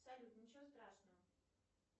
салют ничего страшного